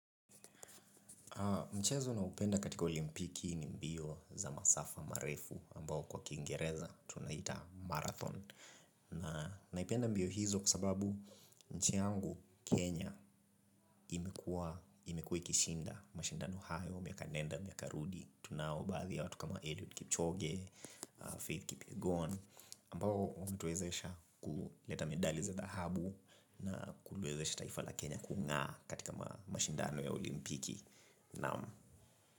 Mchezo ninaupenda katika olimpiki ni mbio za masafa marefu ambao kwa Kiingereza tunaita marathon na naipenda mbio hizo kwa sababu nchi yangu Kenya imekuwa imekuwa ikishinda mashindano hayo miaka nenda miaka rudi tunao baadhi ya watu kama Eliud Kipchoge, Faith Kipyegon ambao hutuwezesha kuleta medali za dhahabu na kuliwezesha taifa la Kenya kungaa katika mashindano ya olimpiki, naam.